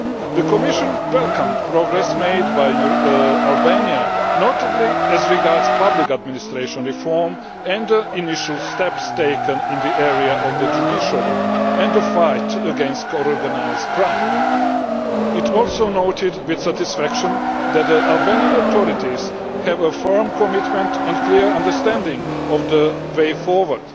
The Commission welcomed the progress made by Albania, notably as regards public administration reform and the initial steps taken in the area of the judiciary and the fight against organised crime. It also noted with satisfaction that the Albanian authorities have a firm commitment to, and clear understanding of, the way forward.